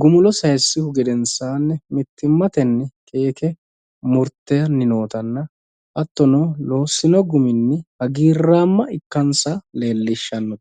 gumulo sayiissuhu gedenssaanni mittimmatenni keeke murtanni nootanna hattono loossino guminni hagiirraamma ikkansa leellishshanno